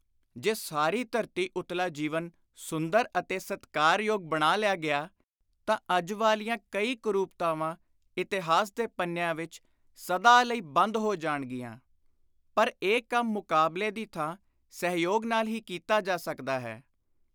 ਜੇ ਸਾਰੀ ਧਰਤੀ ਉਤਲਾ ਜੀਵਨ ਸੁੰਦਰ ਅਤੇ ਸਤਿਕਾਰਯੋਗ ਬਣਾ ਲਿਆ ਗਿਆ ਤਾਂ ਅੱਜ ਵਾਲੀਆਂ ਕਈ ਕੁਰੁਪਤਾਵਾਂ ਇਤਿਹਾਸ ਦੇ ਪੰਨਿਆਂ ਵਿਚ ਸਦਾ, ਲਈ, ਬੰਦ, ਹੋ, ਜਾਣਗੀਆਂ। ਪਰ ਇਹ ਕੰਮ ਮੁਕਾਬਲੇ ਦੀ ਥਾਂ ਸਹਿਯੋਗ ਨਾਲ ਹੀ ਕੀਤਾ ਜਾ ਸਕਦਾ ਹੈ।